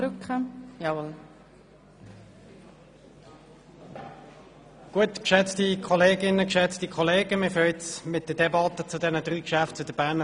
der BaK. Wir beginnen jetzt mit der Debatte zu den drei Geschäften zur BFH.